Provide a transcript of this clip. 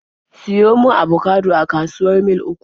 Siyo mun abokado a kasuwar Mil 3!